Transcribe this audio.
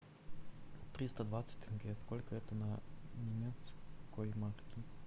триста двадцать тенге сколько это на немецкой марки